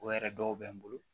O yɛrɛ dɔw bɛ n bolo